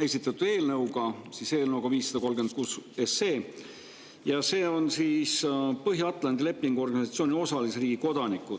esitatud eelnõuga, siis eelnõuga 536, kus on Põhja-Atlandi Lepingu Organisatsiooni osalisriigi kodanikud.